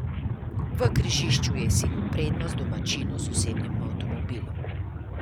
V križišču je izsilil prednost domačinu z osebnim avtomobilom.